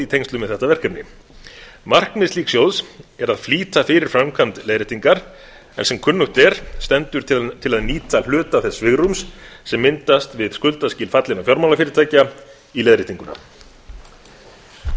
tengslum við þetta verkefni markmið slíks sjóðs er að flýta fyrir framkvæmd leiðréttingar en sem kunnugt er stendur til að nýta hluta þess svigrúms sem myndast við skuldaskil fallinna fjármálafyrirtækja í leiðréttinguna